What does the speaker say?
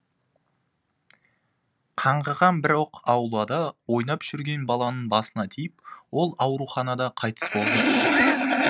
қаңғыған бір оқ аулада ойнап жүрген баланың басына тиіп ол ауруханада қайтыс болды